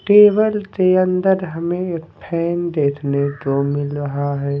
Table के अंदर हमें एक फैन देखने को मिल रहा है।